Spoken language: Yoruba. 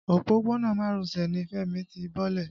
Òpópónà Marosè ni Fẹ́mi ti bọ́lẹ̀.